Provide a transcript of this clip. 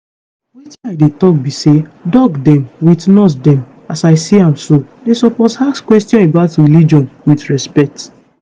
wetin i dey talk be say doc dem with nurse dem as i see am so dey suppose ask questions about religion with respect.